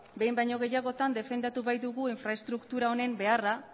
behin baino gehiagotan defendatu baitugu infraestruktura honen beharra